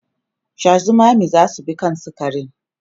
Sha zumami zasu bi kan sukarin